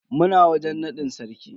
Muna wajen nadin sarki.